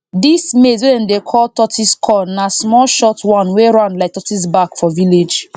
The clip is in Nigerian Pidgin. dis maize wey dem dey call tortoise corn na small short one wey round like tortoise back for village